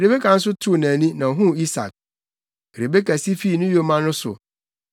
Rebeka nso too nʼani, na ohuu Isak. Rebeka si fii ne yoma no so,